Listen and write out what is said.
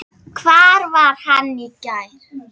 Hvar var hann í gær?